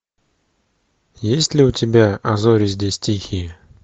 есть ли у тебя а зори здесь тихие